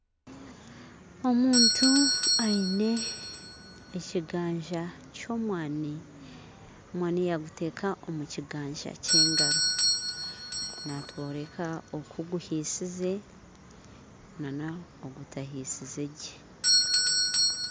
Omuntu aine ekiganja ky'omwani, omwani yaguteeka omu kiganja kye engaro natworeka oku guhisize, nana ogutahisize gye